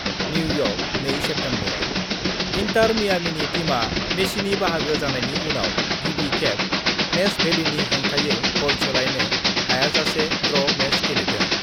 New York, 2 September: Inter मियामीनि टीमआ मेसिनि बाहागो जानायनि उनाव गिबि खेब नेशभेलीनि हेंथायै गल सोलायनो हायाजासे ड्र' मेच गेलेदों।